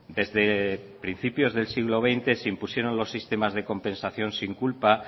desde principios del siglo veinte se impusieron los sistemas de compensación sin culpa